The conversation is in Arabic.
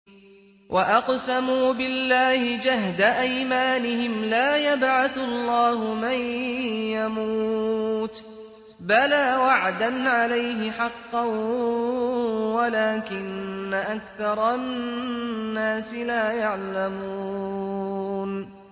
وَأَقْسَمُوا بِاللَّهِ جَهْدَ أَيْمَانِهِمْ ۙ لَا يَبْعَثُ اللَّهُ مَن يَمُوتُ ۚ بَلَىٰ وَعْدًا عَلَيْهِ حَقًّا وَلَٰكِنَّ أَكْثَرَ النَّاسِ لَا يَعْلَمُونَ